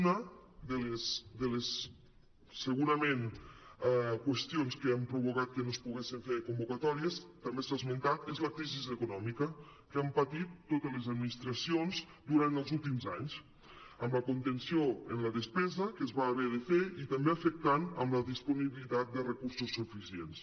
una segurament de les qüestions que han provocat que no es poguessen fer convocatòries també s’ha esmentat és la crisi econòmica que han patit totes les administracions durant els últims anys amb la contenció en la despesa que es va haver de fer i també va afectar la disponibilitat de recursos su·ficients